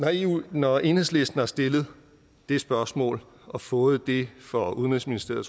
når enhedslisten har stillet det spørgsmål og fået det fra udenrigsministeriet